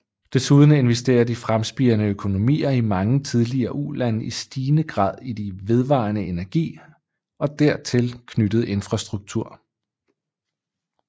Desuden investerer de fremspirende økonomier i mange tidligere ulande i stigende grad i vedvarende energi og dertil knyttet infrastruktur